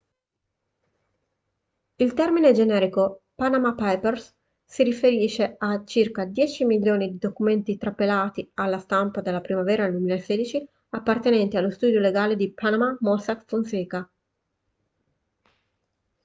il termine generico panama papers si riferisce a circa dieci milioni di documenti trapelati alla stampa nella primavera del 2016 appartenenti allo studio legale di panama mossack fonseca